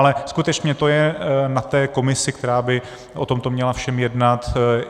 Ale skutečně to je na té komisi, která by o tomto všem měla jednat.